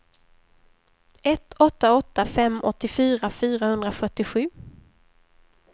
ett åtta åtta fem åttiofyra fyrahundrafyrtiosju